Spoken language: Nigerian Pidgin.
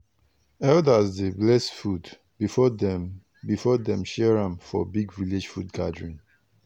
elders dey bless food before dem before dem share am for big village food gathering.